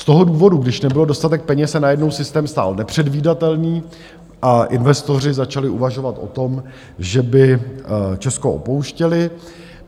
Z toho důvodu, když nebyl dostatek peněz, se najednou systém stál nepředvídatelný a investoři začali uvažovat o tom, že by Česko opouštěli.